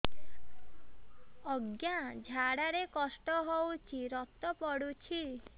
ଅଜ୍ଞା ଝାଡା ରେ କଷ୍ଟ ହଉଚି ରକ୍ତ ପଡୁଛି